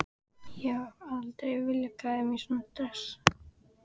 Ég hef aldrei viljað klæða mig í svona dress.